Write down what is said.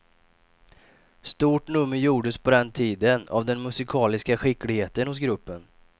Stort nummer gjordes på den tiden av den musikaliska skickligheten hos gruppen.